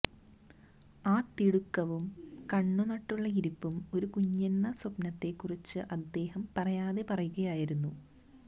ആ തിടുക്കവും കണ്ണും നട്ടുള്ള ഇരിപ്പും ഒരു കുഞ്ഞെന്ന സ്വപ്നത്തെ കുറിച്ച് അദ്ദേഹം പറയാതെ പറയുകയായിരുന്നു